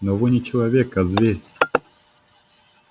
но вы не человек а зверь